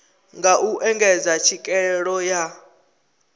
nga u engedza tswikelelo ya